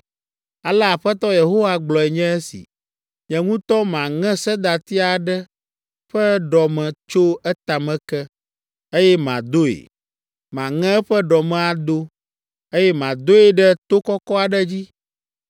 “Ale Aƒetɔ Yehowa gblɔe nye esi. ‘Nye ŋutɔ maŋe sedati aɖe ƒe ɖɔme tso etame ke, eye madoe. Maŋe eƒe ɖɔme ado, eye madoe ɖe to kɔkɔ aɖe dzi.